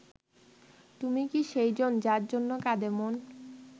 তুমি কি সেই জন যার জন্য কাঁদে মন